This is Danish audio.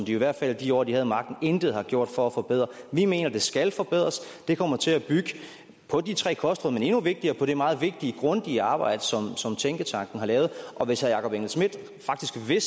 i hvert fald i de år hvor de havde magten intet har gjort for at forbedre vi mener at den skal forbedres den kommer til at bygge på de tre kostråd men endnu vigtigere på det meget vigtige og grundige arbejde som tænketanken har lavet hvis herre jakob engel schmidt faktisk ved